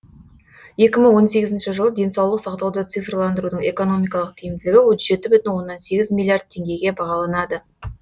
екі мың он сегізінші жылы денсаулық сақтауды цифрландырудың экономикалық тиімділігі отыз жеті бүтін оннан сегіз миллиард теңгеге бағаланады